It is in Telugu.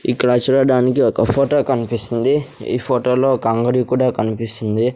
ఇక్కడ చూడడానికి ఒక ఫొటో కన్పిస్తుంది ఈ ఫొటో లో ఒక అంగడి కూడా కన్పిస్తుంది.